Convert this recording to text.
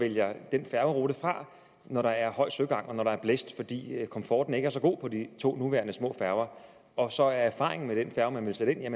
vælger den færgerute fra når der er høj søgang og når der er blæst fordi komforten ikke er så god på de to nuværende små færger og så er erfaringen med den færge man vil sætte ind at